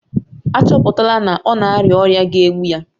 A chọpụtala na ọ na-arịa ọrịa ga-egbu ya